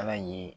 Ala ye